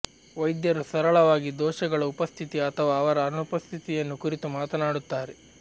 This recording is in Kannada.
ವೈದ್ಯರು ಸರಳವಾಗಿ ದೋಷಗಳ ಉಪಸ್ಥಿತಿ ಅಥವಾ ಅವರ ಅನುಪಸ್ಥಿತಿಯನ್ನು ಕುರಿತು ಮಾತನಾಡುತ್ತಾರೆ